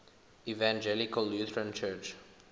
evangelical lutheran church